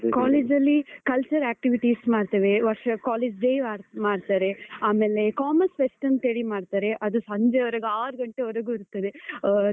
College ಅಲ್ಲಿ cultural activities ಮಾಡ್ತೇವೆ, ವರ್ಷ college day ಮಾಡ್ತಾರೆ, ಆಮೇಲೆ commerce fest ಅಂತ ಹೇಳಿ ಮಾಡ್ತಾರೆ, ಅದು ಸಂಜೆವರೆಗೆ ಆರ್ ಗಂಟೆವರೆಗೂ ಇರ್ತದೆ. ಆ